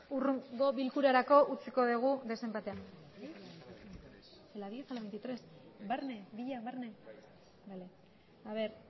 hurrengo bilkurarako utziko dugu desenpatea